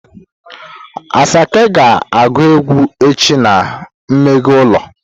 Asake ga agu egwu echi na mmeghe ulo.